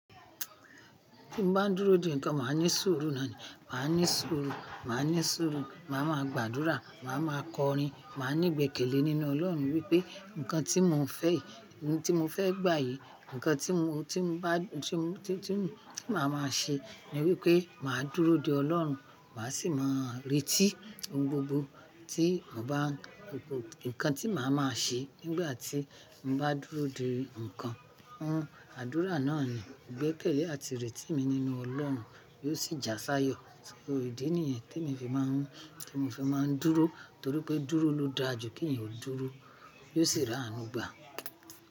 Tí mo bá ń dúró di ǹkan, màá ní sùúrù náà ni. Màá ní sùúrù, màá ní sùúrù, màá ma gbàdúrà, màá ma kọrin, màá ní gbèkèlé nínú Ọlọ́run wípé ǹkan tí mo fẹ́ yìí, ohun tí mo fẹ́ gbà yìí, ǹkan tí mo, tí mo bá, tí mo, tí tí mo, tí màá ma ṣe ni wípé màá dúró de Ọlọ́run. Màá sì máa retí ohun gbogbo tí mo bá, ohun gbogbo ǹkan tí màá ma ṣe nígbà tí mo bá dúró de ǹkan. Ohun àdúrà náà ni gbẹ́kẹ̀lé àti rètí mi nínú Ọlọ́run yóò sì jásáyọ̀. Ò ndí nìyẹn tí emi fi máa ń, tí mo fi máa ń dúró torí pé dúró ló dára ju kí èèyàn ó dúró, yóò sì ránu gbà.